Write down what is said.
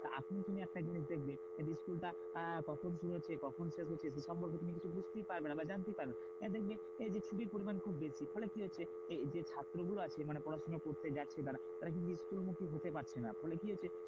এখন তুমি একটা জিনিস দেখবে school টা কখন শুরু হচ্ছে কখন শেষ হচ্ছে তো সম্পর্কে তুমি কিছু বুঝতেই পারবে না বা জানতেই পারবে না। দেখবে যে ছুটির পরিমান খুব বেশি। ফলে কি হচ্ছে? এই যে ছাত্র গুলো আছে মানে পড়াশোনা করতে যাচ্ছে তারা। তারা কিন্তু school মুখী হতে পারছে না ফলে কি হচ্ছে?